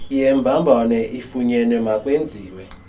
yembambano ifunyenwe emakwenziwe